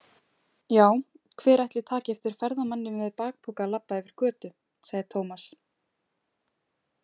Já, hver ætli taki eftir ferðamanni með bakpoka labba yfir götu, sagði Tómas.